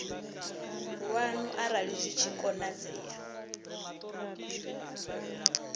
lwanu arali zwi tshi konadzea